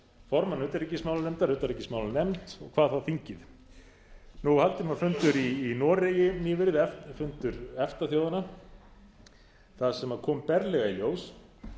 formann utanríkismálanefndar utanríkismálanefnd hvað þá þingið haldinn var fundur í noregi nýverið fundur efta þjóðanna þar sem kom berlega í ljós